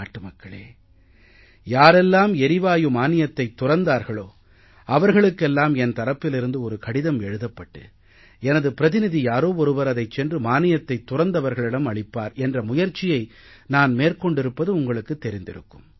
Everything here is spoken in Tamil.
நாட்டுமக்களே யாரெல்லாம் எரிவாயு மானியத்தைத் துறந்தார்களோ அவர்களுக்கெல்லாம் என் தரப்பிலிருந்து ஒரு கடிதம் எழுதப்பட்டு எனது பிரதிநிதி யாரோ ஒருவர் அதைச் சென்று மானியத்தைத் துறந்தவர்களிடம் அளிப்பார் என்ற முயற்சியை நான் மேற்கொண்டிருப்பது உங்களுக்குத் தெரிந்திருக்கும்